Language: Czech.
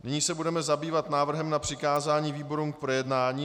Nyní se budeme zabývat návrhem na přikázání výborům k projednání.